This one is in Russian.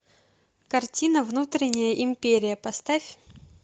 картина внутренняя империя поставь